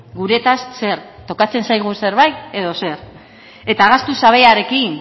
gutaz zer tokatzen zaigun zerbait edo zer eta